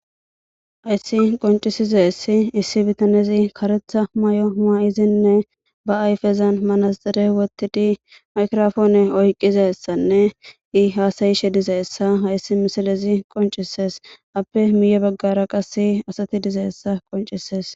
Hays qoncisizays issi bitanez karetha mayo mayidinne ba ayfezan manaxire wothid microphone oykidaysanne hasa'ishe dizaysa hays misilez qoncises, appe miye bagara qase asat dizaysa qoncises.